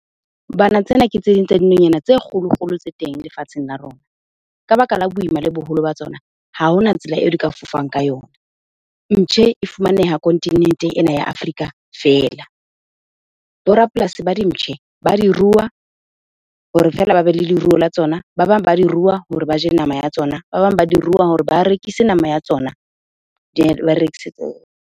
Bana, tsena ke tse ding tsa dinonyana tse kgolo-kgolo tse teng lefatsheng la rona. Ka baka la boima le boholo ba tsona, ha hona tsela eo di ka fofang ka yona. Mptjhe e fumaneha kontinenteng ena ya Afrika fela. Bo rapolasi ba dimptjhe ba di rua hore feela ba be le leruo la tsona, ba bang ba di rua hore ba je nama ya tsona, ba bang ba di rua hore ba rekise nama ya tsona .